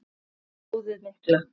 Flóðið mikla